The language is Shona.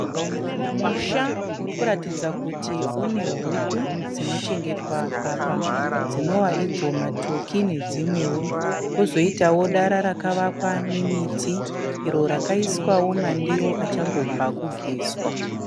Musha uri kuratidza kuti unehuku dzinochengetwa apa dzinova idzo matoki nedzimwewo. Kozoitawo dara rakavakwa nemiti iro rakaiswawo mandiro achangobva kugezwa.